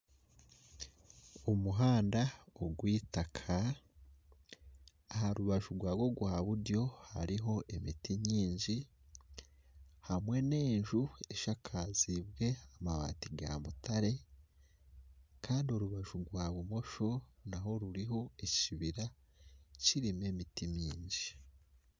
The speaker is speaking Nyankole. Omuhanda ogweitaka aha rubaju rwagwo rwa buryo hariho emiti nyingi hamwe na enju eshakazibwe amabati ga mutare kandi orubaju rwa bumosho naho hariho ekibira kirimu emiti mingi .